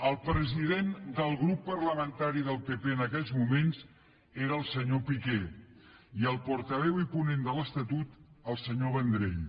el president del grup parlamentari del pp en aquells moments era el senyor piqué i el portaveu i ponent de l’estatut el senyor vendrell